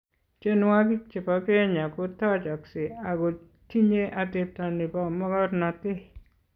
Tienwokik che bo kenya ko tochoksei ako tinyei atepto ne bo mokornotee.